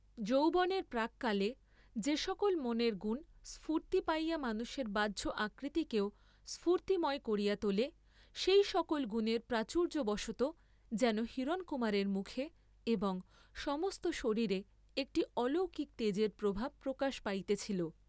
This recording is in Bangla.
যৌবনের প্রাক্কালে যে সকল মনের গুণ স্ফূর্ত্তি পাইয়া মানুষের বাহ্য আকৃতিকেও স্ফূতির্ময় করিয়া তোলে, সেই সকল গুণের প্রাচুর্য্যবশতঃ যেন হিরণকুমারের মুখে এবং সমস্ত শরীরে একটি অলৌকিক তেজের প্রভাব প্রকাশ পাইতেছিল।